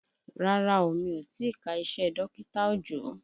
Rárá o, mi ò tìí ka iṣẹ́ dọkita Òjó.